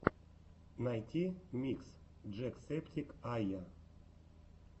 найти микс джек септик ая